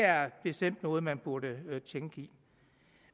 er bestemt noget man burde tænke i